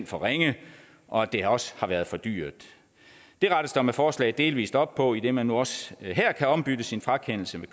for ringe og at det også har været for dyrt det rettes der med forslaget delvis op på idet man nu også her kan ombytte sin frakendelse